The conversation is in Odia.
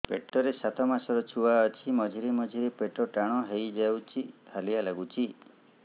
ପେଟ ରେ ସାତମାସର ଛୁଆ ଅଛି ମଝିରେ ମଝିରେ ପେଟ ଟାଣ ହେଇଯାଉଚି ହାଲିଆ ଲାଗୁଚି